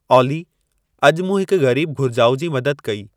ऑली अॼु मूं हिक ग़रीब घुर्जाउ जी मदद कई